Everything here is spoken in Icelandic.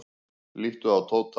Líttu á Tóta.